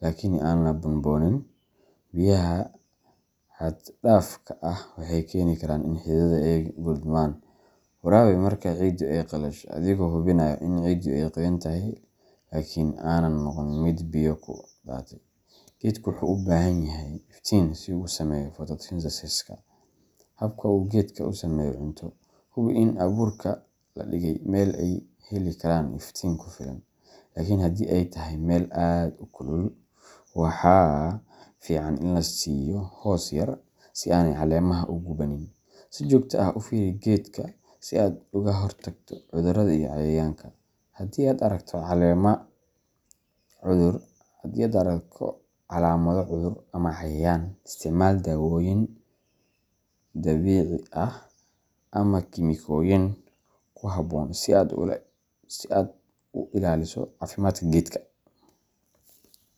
laakiin aan la buunbuunin. Biyaha xaddhaafka ah waxay keeni karaan in xididdada ay qudhmaan. Waraabi marka ciiddu ay qalasho, adigoo hubinaya in ciiddu ay qoyan tahay laakiin aanay noqon mid biyo ku daatay. Geedku wuxuu u baahan yahay iftiin si uu u sameeyo photosynthesiska habka uu geedku u sameeyo cunto. Hubi in abuurka la dhigay meel ay heli karaan iftiin ku filan, laakiin haddii ay tahay meel aad u kulul, waxaa fiican in la siiyo hoos yar si aanay caleemaha u gubanin. Si joogto ah u fiiri geedka si aad uga hortagto cudurrada iyo cayayaanka. Haddii aad aragto calaamado cudur ama cayayaan, isticmaal daawooyin dabiici ah ama kiimikooyin ku habboon si aad u ilaaliso caafimaadka geedka.